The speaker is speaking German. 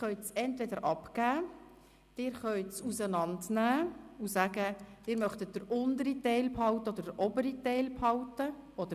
Entweder geben Sie den Badge ab, oder Sie können diesen auseinandernehmen und sagen, dass Sie den unteren oder den oberen Teil oder beides behalten wollen.